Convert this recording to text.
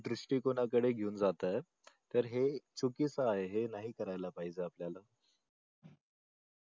दृष्टी कोणाकडे घेऊन जातात तर हे चुकीच आहे हे नाही करायला पाहिजे आपण